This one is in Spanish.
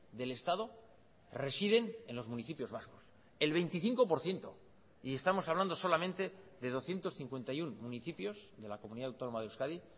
del estado residen en los municipios vascos el veinticinco por ciento y estamos hablando solamente de doscientos cincuenta y uno municipios de la comunidad autónoma de euskadi